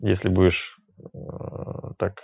если будешь